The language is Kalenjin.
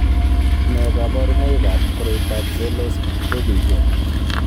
Nee kabarunoikab koroitoab Verlos Bourguignon ?